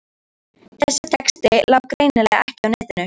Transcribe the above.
Þessi texti lá greinilega ekki á netinu.